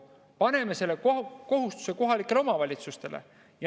Paneme selle kohustuse kohalikele omavalitsustele.